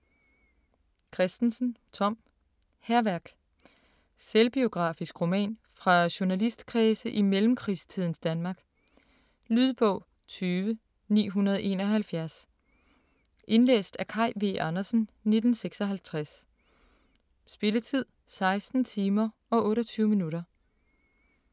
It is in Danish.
Kristensen, Tom: Hærværk Selvbiografisk roman fra journalistkredse i mellemkrigstidens Danmark. Lydbog 20971 Indlæst af Kaj V. Andersen, 1956. Spilletid: 16 timer, 28 minutter.